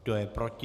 Kdo je proti?